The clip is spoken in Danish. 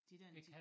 De dér en 10